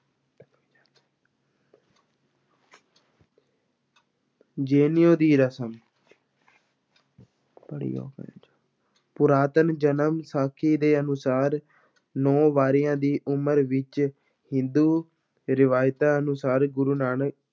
ਜਨੇਊ ਦੀ ਰਸਮ ਪੁਰਾਤਨ ਜਨਮ ਸਾਖੀ ਦੇ ਅਨੁਸਾਰ ਨੌਂ ਵਰ੍ਹਿਆਂ ਦੀ ਉਮਰ ਵਿੱਚ ਹਿੰਦੂ ਰਿਵਾਇਤਾਂ ਅਨੁਸਾਰ ਗੁਰੂ ਨਾਨਕ